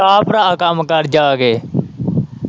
ਜਾ ਭਰਾ ਕੰਮ ਕਰ ਜਾ ਕੇ।